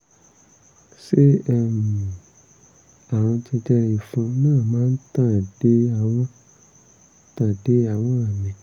ṣé um àrùn jẹjẹrẹ ìfun náà máa tàn dé àwọn tàn dé àwọn míì?